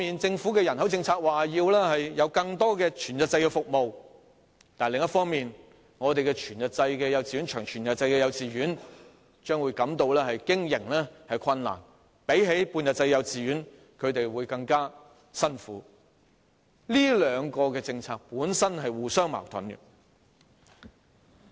政府的人口政策一方面說要提供更多全日制服務，但另一方面，全日制及長全日制的幼稚園將會經營困難，較半日制幼稚園的經營會更艱苦，這兩項政策本身是互相矛盾的。